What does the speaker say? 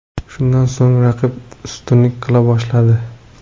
Shundan so‘ng raqib ustunlik qila boshladi.